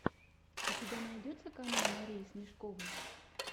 у тебя найдется канал марии смешковой